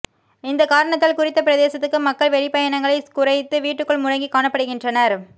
இந்த காரணத்தால் குறித்த பிரதேசத்து மக்கள் வெளி பயணங்களை குறைத்து வீட்டுக்குள் முடங்கி காணப்படுகின்றனர்